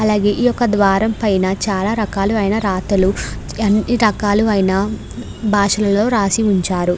అలాగే ఇక్కడ ద్వారం పైన చాల రకాల అయినా రతలు అన్నీ రకాలు అయినా భాషలలో రాసి ఉన్చారు.